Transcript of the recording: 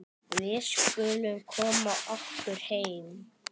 Við skulum koma okkur heim.